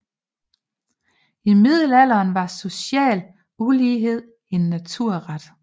I middelalderen var social ulighed en naturret